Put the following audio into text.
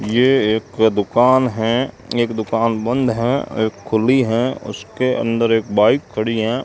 ये एक दुकान हैं एक दुकान बंद हैं आ एक खुली है उसके अंदर एक बाइक खड़ी हैं।